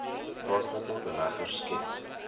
plaaslike beleggers skep